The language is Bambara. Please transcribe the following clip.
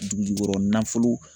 Dugujukɔrɔ nafolo